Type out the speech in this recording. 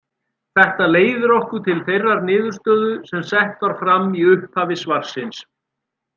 Þetta leiðir okkur til þeirrar niðurstöðu sem sett var fram í upphafi svarsins.